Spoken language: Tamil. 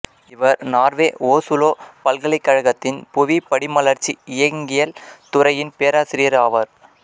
இவர் நார்வே ஓசுலோ பல்கலைக்கழகத்தின் புவிப் படிமலர்ச்சி இயங்கியல் துறையின் பேராசிரியர் ஆவார்